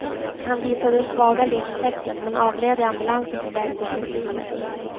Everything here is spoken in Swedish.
Han visade svaga livstecken, men avled i ambulansen på väg till sjukhuset.